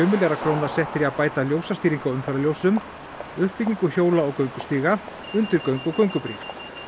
milljarðar króna settir í að bæta ljósastýringu á umferðarljósum uppbygginu hjóla og göngustíga undirgöng og göngubrýr